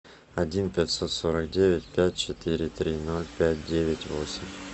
один пятьсот сорок девять пять четыре три ноль пять девять восемь